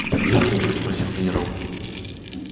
там есть кто-нибудь спросил генерал